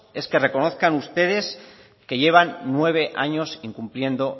es que reconozcan ustedes que llevan nueve años incumpliendo